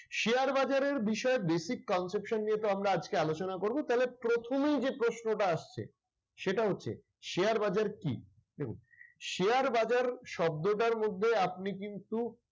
Share বাজারের বিষয়ে basic conception নিয়ে তো আমরা আজকে আলোচনা করব, তাহলে প্রথমেই যে প্রশ্নটা আসছে সেটা হচ্ছে শেয়ার বাজার কি? দেখুন শেয়ার বাজার শব্দটার মধ্যে আপনি কিন্তু